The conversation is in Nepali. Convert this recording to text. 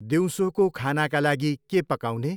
दिउँसोको खानाका लागि के पकाउने?